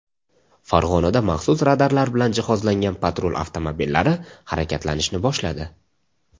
Farg‘onada maxsus radarlar bilan jihozlangan patrul avtomobillari harakatlanishni boshladi.